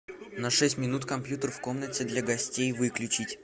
на шесть минут компьютер в комнате для гостей выключить